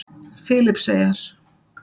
Filippseyjar